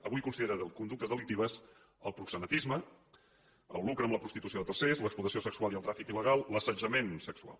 avui considera conductes delictives el proxenetisme el lucre amb la prostitució de tercers l’explotació sexual i el tràfic il·legal l’assetjament sexual